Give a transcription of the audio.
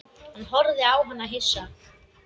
Hann horfði á hana hissa.